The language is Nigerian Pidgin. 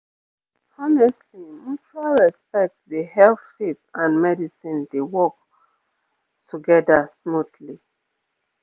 honestly mutual respect dey help faith and medicine dey work pause together smoothly